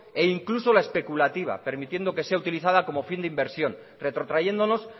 e incluso la especulativa permitiendo que sea utilizada como fin de inversión retrotrayéndonos